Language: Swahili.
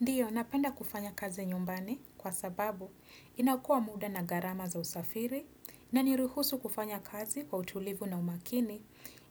Ndio, napenda kufanya kazi nyumbani kwa sababu inaokoa muda na gharama za usafiri inaniruhusu kufanya kazi kwa utulivu na umakini,